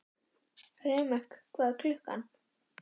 Remek, hvað er klukkan?